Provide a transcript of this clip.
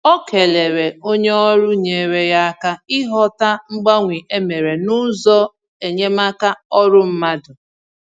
Ọ kelere onye ọrụ nyere ya aka ịghọta mgbanwe e mere n’ụzọ enyemaka ọrụ mmadụ